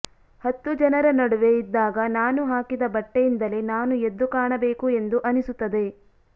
ಹತ್ತು ಜನರ ನಡುವೆ ಇದ್ದಾಗ ನಾನು ಹಾಕಿದ ಬಟ್ಟೆಯಿಂದಲೇ ನಾನು ಎದ್ದು ಕಾಣಬೇಕು ಎಂದು ಅನಿಸುತ್ತದೆ